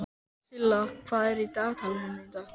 Silla, hvað er í dagatalinu mínu í dag?